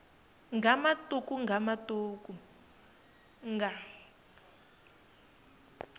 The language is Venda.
nga matuku nga matuku nga